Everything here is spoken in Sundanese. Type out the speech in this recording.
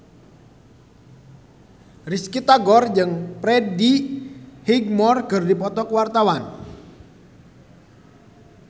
Risty Tagor jeung Freddie Highmore keur dipoto ku wartawan